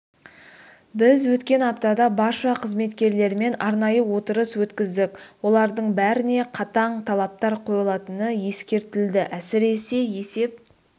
біз өткен аптада барша қызметкерлермен арнайы отырыс өткіздік олардың бәріне қатаң талаптар қойылатыны ескертілді әсіресе есеп